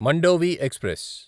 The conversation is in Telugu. మండోవి ఎక్స్ప్రెస్